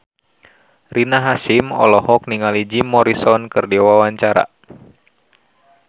Rina Hasyim olohok ningali Jim Morrison keur diwawancara